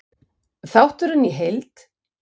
Þátturinn í heild: